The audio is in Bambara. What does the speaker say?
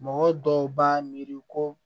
Mɔgɔ dɔw b'a miiri ko